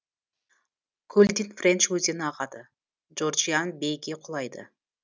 көлден френч өзені ағады джорджиан бейге құлайды